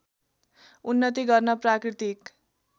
उन्नति गर्न प्राकृतिक